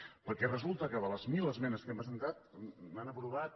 perquè resulta que de les mil esmenes que hem presentat n’han aprovat